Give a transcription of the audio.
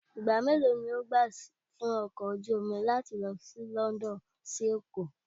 Ìgbà mélòó ni yóò gbà fún ọkọ̀ ojú omi láti lọ láti London sí Èkó?